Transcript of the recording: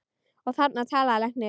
Og þarna talaði læknir.